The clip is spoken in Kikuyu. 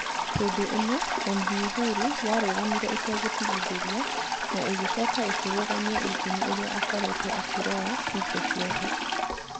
Hĩndĩ ĩno MV Uhuru yarũgamire ĩtegũtigithĩria na ĩgĩcoka ĩkĩrũgamia injini iria akoretwo akĩrora hingo ciothe